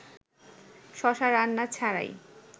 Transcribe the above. শশা রান্না ছাড়াই